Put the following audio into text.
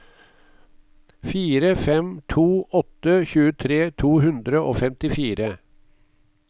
fire fem to åtte tjuetre to hundre og femtifire